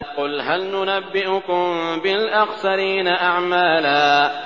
قُلْ هَلْ نُنَبِّئُكُم بِالْأَخْسَرِينَ أَعْمَالًا